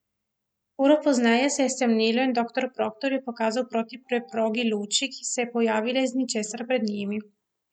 Uro pozneje se je stemnilo in doktor Proktor je pokazal proti preprogi luči, ki se je pojavila iz ničesar pred njimi.